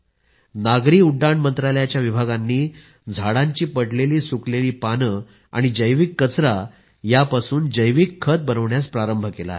नागरी उड्डाण मंत्रालयाच्या विभागांनी झाडांची पडणारी सुकलेली पाने आणि जैविक कचरा यांचं जैविक खत बनवण्यास प्रारंभ केला आहे